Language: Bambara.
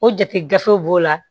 O jate gafew b'o la